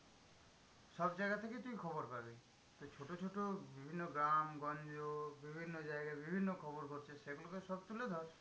সব জায়গা থেকেই তুই খবর পাবি। তো ছোট ছোট বিভিন্ন গ্রাম গঞ্জ বিভিন্ন জায়গায় বিভিন্ন খবর ঘটছে সেগুলো সব তুলে ধর।